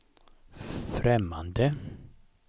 främmande